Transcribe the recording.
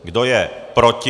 Kdo je proti?